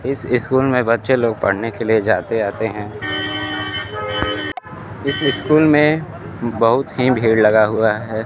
इस स्कूल में बच्चे लोग पढ़ने के लिए जाते आते हैं इस स्कूल में बहुत ही भीड़ लगा हुआ है।